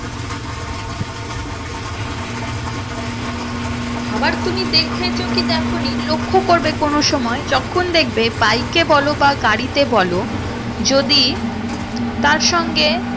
আবার তুমি দেখেছো কি দেখো নি লক্ষ করবে কোনো সময় যখন দেখবে bike এ বলো বা গাড়িতে বলো যদি তার সঙ্গে